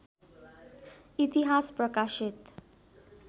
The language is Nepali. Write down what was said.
इतिहास प्रकाशित